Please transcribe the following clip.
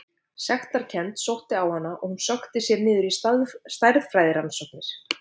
Sektarkennd sótti á hana og hún sökkti sér niður stærðfræðirannsóknir.